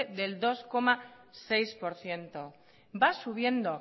del dos coma seis por ciento va subiendo